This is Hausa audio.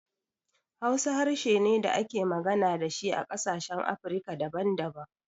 Hausa harshe ne da ake magana da shi a ƙasashen Afirika daban daban.